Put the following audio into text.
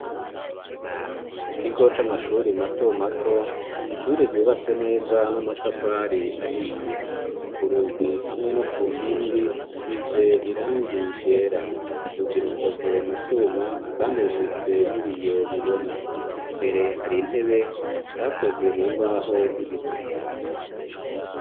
Ku kigo c'amashuri mato mato, ishuri ryubatse neza n'amatafari ahiye, ku rugi hamwe no ku nkingi size irangigera rugi rukoze mu cuma kandi rufise n'ibiyo bibona imbere hari intebe zakozwe mu mbaho z'ibiti